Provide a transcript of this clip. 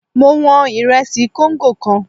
Mo wọn ìrẹsì kóńgò kan.